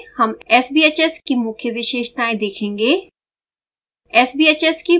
इस ट्यूटोरियल में हम sbhs की मुख्य विशेषताएं देखेंगे